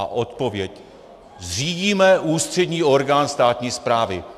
A odpověď: Zřídíme ústřední orgán státní správy.